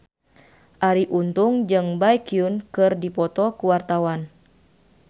Arie Untung jeung Baekhyun keur dipoto ku wartawan